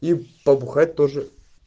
и побухать тоже